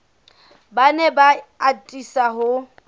ba ne ba atisa ho